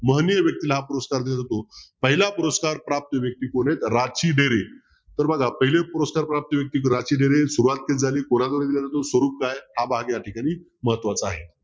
महनीय व्यक्तीला हा पुरस्कार दिल्या जातो. पहिला पुरस्कार प्राप्त व्यक्ती कोण आहे राची डेरे. तर बघा पहिला पुरस्कार प्राप्त व्यक्ती राची डेरे सुरवात कशी झाली कोणाकडे दिला स्वरूप काय हा भाग या ठिकाणी महत्वाचा आहे.